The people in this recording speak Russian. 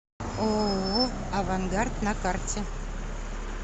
ооо авангард на карте